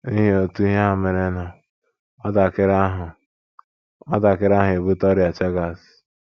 N’ihi otu ihe a merenụ, nwatakịrị ahụ, nwatakịrị ahụ ebute ọrịa Chagas.